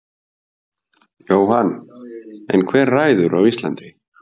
Jóhann: En hver ræður á Íslandi?